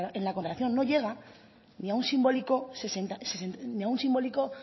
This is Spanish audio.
en la contratación no llega ni a la